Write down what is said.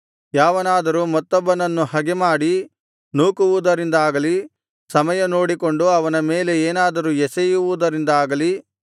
ಯಾವನಾದರೂ ಮತ್ತೊಬ್ಬನನ್ನು ಹಗೆಮಾಡಿ ನೂಕುವುದರಿಂದಾಗಲಿ ಸಮಯ ನೋಡಿಕೊಂಡು ಅವನ ಮೇಲೆ ಏನಾದರೂ ಎಸೆಯುವುದರಿಂದಾಗಲಿ